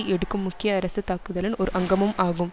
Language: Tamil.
எடுக்கும் முக்கிய அரசு தாக்குதலின் ஒரு அங்கமும் ஆகும்